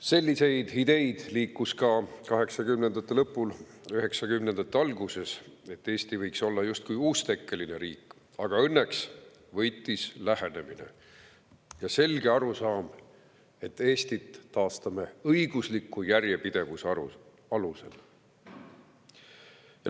Selliseid ideid liikus ka kaheksakümnendate lõpul, üheksakümnendate alguses, et Eesti võiks olla justkui uustekkeline riik, aga õnneks võitis lähenemine ja selge arusaam, et Eesti taastatakse õigusliku järjepidevuse alusel.